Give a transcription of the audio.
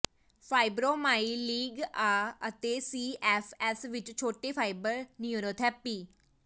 fibromyalgia ਅਤੇ C F S ਵਿੱਚ ਛੋਟੇ ਫਾਈਬਰ ਨਯੂਰੋਪੈਥੀ